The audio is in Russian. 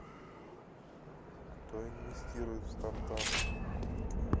кто инвестирует в стартапы